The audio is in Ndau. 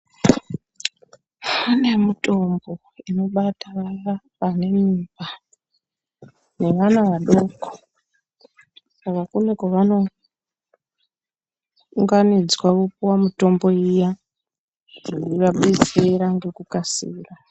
Pane mitombo inobatsira vanemimba nebana vadoko saka kune pane kwavano unganidzwav opiwa mutombo iya inovadetsera nekukasika.